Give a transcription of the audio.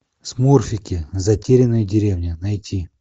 смурфики затерянная деревня найти